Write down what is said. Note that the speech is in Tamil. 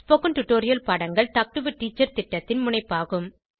ஸ்போகன் டுடோரியல் பாடங்கள் டாக் டு எ டீச்சர் திட்டத்தின் முனைப்பாகும்